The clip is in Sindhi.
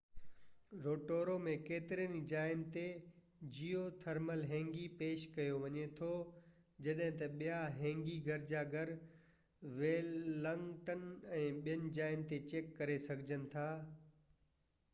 روٽورو ۾ ڪيترن ئي جاين تي جيو ٿرمل هنگي پيش ڪيو وڃي ٿو جڏهن ته ٻيا هينگي گرجا گهر ويلنگٽن ۽ ٻين جاين تي چيڪ ڪري سگهجن ٿا